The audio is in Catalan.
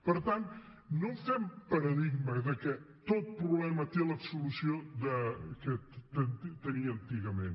per tant no fem paradigma que tot problema té la solució que tenia antigament